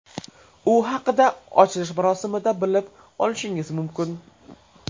U haqida ochilish marosimida bilib olishingiz mumkin!